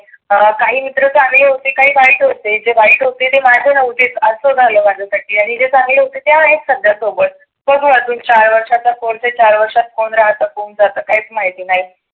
काही मित्र चागली होती काही वाईट ही होती. जे वाईट होते ते माझे नव्हतेच आसं झाल माझ. आणि जे चांगले होते ते आहेत सध्या सोबत. बघु आजुन चार वर्षात कोणते चार वर्षात कोण ते राहतं कोण जातं काहीच माहिती नाही.